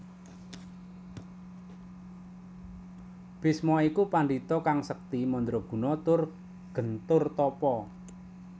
Bisma iku pandhita kang sekti mandraguna tur gentur tapa